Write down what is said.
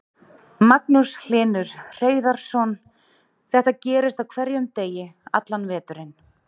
Magnús Hlynur Hreiðarsson: Þetta gerist á hverjum degi allan veturinn?